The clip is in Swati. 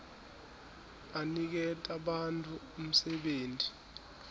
aniketa bantfu umsebenti